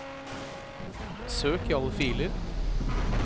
søk i alle filer